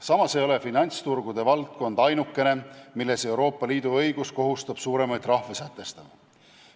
Samas ei ole finantsturgude valdkond ainukene, kus Euroopa Liidu õigus kohustab suuremaid trahve sätestama.